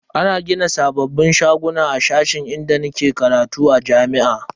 Ana gina sabbin shaguna a cikin sashen inda nake karatu a jami'a.